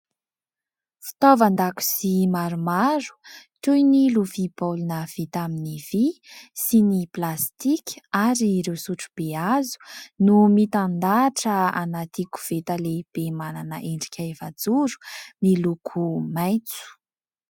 Fitaovan-dakozia maromaro toy ny lovia baolina vita amin'ny vỳ sy ny plastika ary ireo sotrobe hazo, no mitandahatra anaty koveta lehibe manana endrika efajoro miloko maitso.